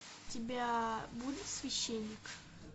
у тебя будет священник